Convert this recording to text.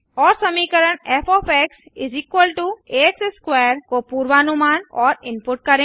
और समीकरण f आ x2 को पूर्वानुमान और इनपुट करें